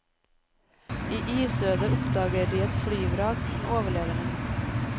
I isødet oppdager de et flyvrak med overlevende.